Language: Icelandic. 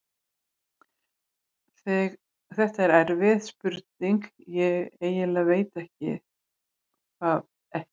Þetta er erfið spurning, ég eiginlega veit það ekki.